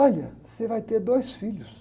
Olha, você vai ter dois filhos.